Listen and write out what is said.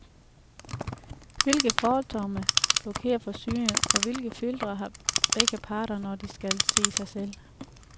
Hvilke fordomme blokerer for synet, og hvilke filtre har begge parter, når de skal se sig selv?